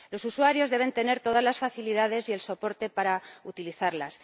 Los usuarios deben tener todas las facilidades y el soporte para utilizarlas.